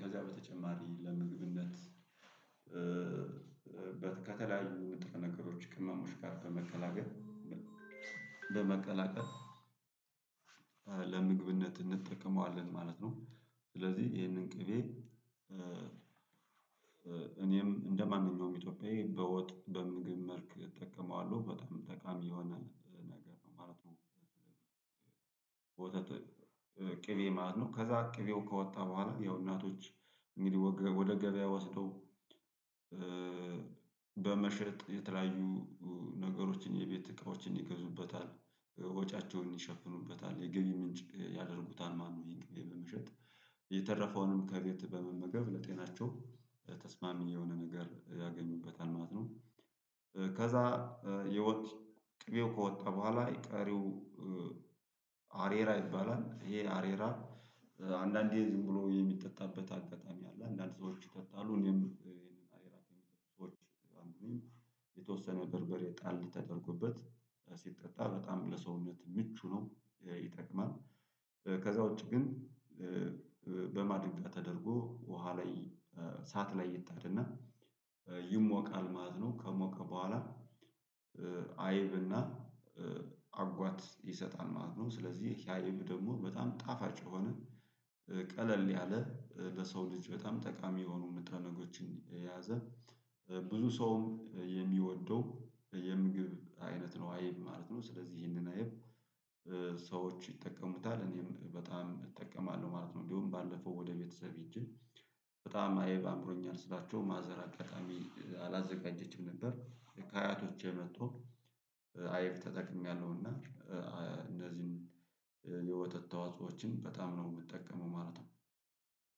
ከዛ በተጨማሪ ለምግብነት ከተለያዩ ንጥረ ነገሮች ቅመሞች ጋር በመቀላቀል በመቀላቀል ለምግብነት እንጠቀመዋለን ማለት ነው። ስለዚህ ይሄንን ቅቤ እኔም እንደማንኛውም ኢትዮጵያዊ በወጥ በምግብ መልክ እጠቀመዋለሁ በጣም ጠቃሚ የሆነ ነገር ነው ማለት ነው። ወተት ቅቤ ማለት ነው። ከዛ ቅቤው ከወጣ በኋላ ያው እናቶች እንግዲህ ወደ ገበያ ወስደው በመሸጥ የተለያዩ ነገሮችን የቤት እቃዎችን ይገዙበታል ወጫቸውን ይሸፍኑበታል የገቢ ምንጭ ያደርጉታል። ማነው? ይሄን በመሸጥ የተረፈውንም ከጌት በመመገብ ለጤናቸው ተስማሚ የሆነ ነገር ያገኙበታል ማለት ነው። ከዛ የወጥ ቅቤው ከወጣ በኋላ ቀሪው አሬራ ይባላል። ይሄ አሬራ አንዳንዴ ዝም ብሎ የሚጠጣበት አጋጣሚ አለ። አንዳንድ ሰዎች ይጠጣሉ እኔም ይሄንን አሬራ ከሚጠጡ ሰዎች አንዱ ነኝ። የተወሰነ በርበሬ ጣል ተደርጎበት ሲጠጣ በጣም ለሰውነት ምቹ ነው ይጠቅማል። ከዛ ውጪ ግን በማድጋ ተደርጎ ውሃ ላይ እሳት ላይ ይጣድ እና ይሞቃል ማለት ነው። ከሞቀ በኋላ አይብ እና አጓት ይሰጣል ማለት ነው። ስለዚህ ያየም ደግሞ በጣም ጣፋጭ የሆነ ቀለል ያለ ለሰው ልጅ በጣም ጠቃሚ የሆኑ ንጥረነገሮችን የያዘ ብዙ ሰውም የሚወደው የምግብ አይነት ነው። አይብ ማለት ነው ስለዚህ ይሄንን አይብ ሰዎች ይጠቀሙታል እኔም በጣም እጠቀማለሁ ማለት ነው። እንዲሁ ባለፈው ወደ ቤተሰቤ ሄጄ በጣም አየብ አምሮኛል ስላቸው ማዘር አጋጣሚ አላዘጋጀችም ነበር። ከአያቶች የጥቶ አይብ ተጠቅሜያለሁ። እና እንደዚሁም የወተት ተዋጾዎችን በጣም ነው የምትጠቀመው ማለት ነው።